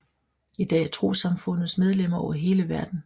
I dag har trossamfundet medlemmer over hele verden